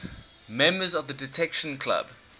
members of the detection club